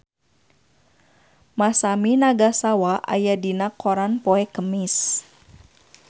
Masami Nagasawa aya dina koran poe Kemis